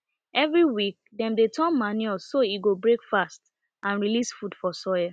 every week dem dey turn manure so e go break fast and release food for soil